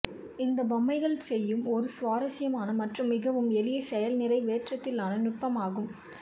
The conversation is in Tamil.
இந்த பொம்மைகள் செய்யும் ஒரு சுவாரஸ்யமான மற்றும் மிகவும் எளிய செயல்நிறைவேற்றத்திலான நுட்பமாகும்